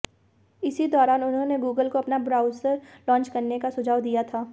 इसी दौरान उन्होंने गूगल को अपना ब्राउजर लांच करने का सुझाव दिया था